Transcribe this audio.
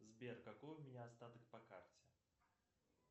сбер какой у меня остаток по карте